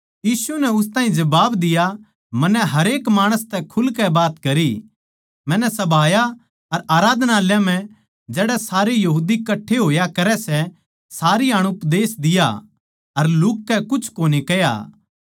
यीशु नै उस ताहीं जबाब दिया मन्नै हरेक माणसां तै खुलकै बात करी मन्नै सभायां अर आराधनालयाँ म्ह जड़ै सारे यहूदी कट्ठे होया करै सै सारी हाण उपदेश दिया अर लुह्क कै कुछ कोनी कह्या